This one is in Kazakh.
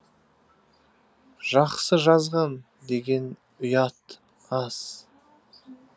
жақсы жазған деген ұят аз